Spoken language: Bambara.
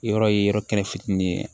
Yɔrɔ ye yɔrɔ kɛnɛ fitinin ye